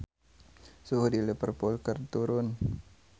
Suhu di Liverpool keur turun